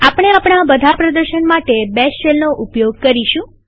આપણે આપણા બધા પ્રદર્શન માટે બેશ શેલનો ઉપયોગ કરીશું